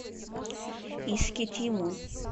искитиму